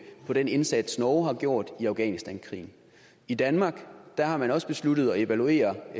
på den indsats norge har gjort i afghanistankrigen i danmark har man også besluttet at evaluere